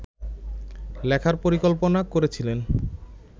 লেখার পরিকল্পনা করেছিলেন